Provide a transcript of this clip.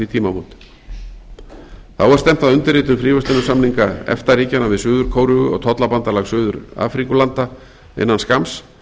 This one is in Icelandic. tímamót þá er stefnt að undirritun fríverslunarsamninga efta ríkjanna við suður kóreu og tollabandalag suður afríkulanda innan skamms